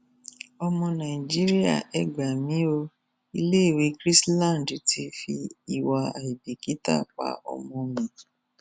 ọmọ nàìjíríà ẹ gbà mí o iléèwé christand apssmy ti fi ìwà àìbìkítà pa ọmọ mi